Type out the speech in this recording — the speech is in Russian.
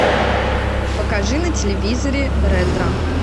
покажи на телевизоре ретро